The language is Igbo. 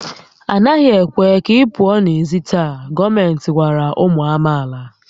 A naghị ekwe ka ị pụọ n'èzí taa! Gọọmenti gwara ụmụ amaala